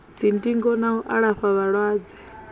dzindingo na u alafha vhalwadze